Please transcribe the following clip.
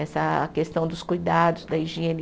Essa a questão dos cuidados, da higiene.